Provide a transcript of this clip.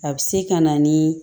A bɛ se ka na ni